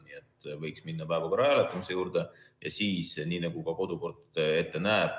Nii et võiks minna päevakorra hääletamise juurde, nii nagu ka kodukord ette näeb.